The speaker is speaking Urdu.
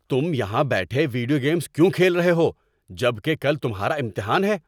تم یہاں بیٹھے ویڈیو گیمز کیوں کھیل رہے ہو جب کہ کل تمہارا امتحان ہے؟